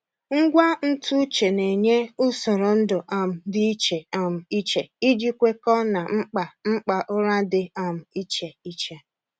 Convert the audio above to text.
Ngwa ntụ uche na-enye usoro ndu um dị iche um iche iji kwekọọ na mkpa mkpa ụra dị um iche iche.